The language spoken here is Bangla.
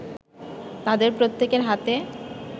তাদের প্রত্যেকের হাতে